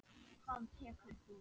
Hvað tekur þú?